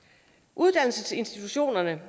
uddannelsesinstitutionerne